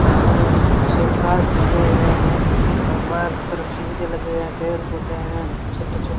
अंदर छेक्कास लगे हुए है और बाहर की तरफ सीढ़ी लगे हुए है पेड़ पौधे है छोटे छोटे --